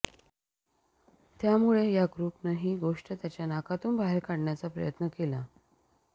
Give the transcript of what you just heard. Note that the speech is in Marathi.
त्यामुळे या ग्रुपनं ही गोष्ट त्याच्या नाकातून बाहेर काढण्याचा प्रयत्न केला